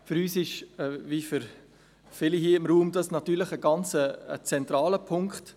Für uns ist dies, wie für viele hier im Raum, natürlich ein ganz zentraler Punkt.